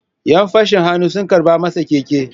‘Yan fashin hannu sun karɓe masa keke.